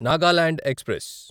Nagaland express